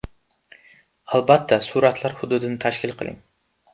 Albatta suratlar hududini tashkil qiling!